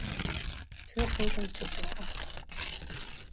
Tvö þúsund tuttugu og átta